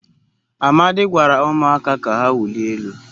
Amadi gwara umuaka ka ha wulie elu